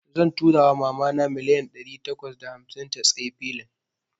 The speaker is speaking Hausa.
Zan tura wa mama na milliyan dari takwas da hamsin ta tsayi filin.